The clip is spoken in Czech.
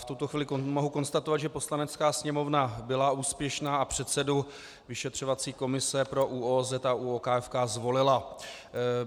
V tuto chvíli mohu konstatovat, že Poslanecká sněmovna byla úspěšná a předsedu vyšetřovací komise pro ÚOOZ a ÚOKFK zvolila.